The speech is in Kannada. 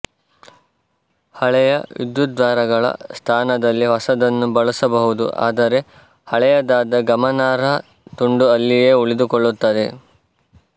ಹಳೆಯ ವಿದ್ಯುದ್ವಾರಗಳ ಸ್ಥಾನದಲ್ಲಿ ಹೊಸದನ್ನು ಬಳಸಬಹುದು ಆದರೆ ಹಳೆಯದಾದ ಗಮನಾರ್ಹ ತುಂಡು ಅಲ್ಲಿಯೇ ಉಳಿದುಕೊಳ್ಳುತ್ತದೆ